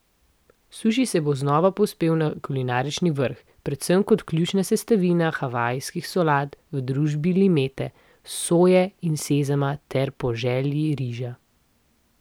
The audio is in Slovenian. Suši se bo znova povzpel na kulinarični vrh, predvsem kot ključna sestavina havajskih solat v družbi limete, soje in sezama ter po želji riža.